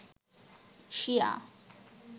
শিয়া